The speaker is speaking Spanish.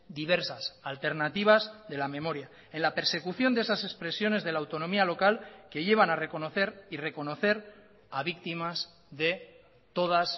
diversas alternativas de la memoria en la persecución de esas expresiones de la autonomía local que llevan a reconocer y reconocer a víctimas de todas